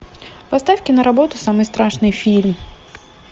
поставь киноработу самый страшный фильм